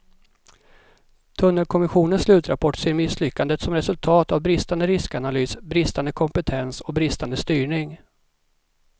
Tunnelkommissionens slutrapport ser misslyckandet som resultat av bristande riskanalys, bristande kompetens och bristande styrning.